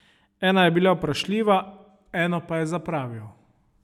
Ena je bila vprašljiva, eno pa je zapravil.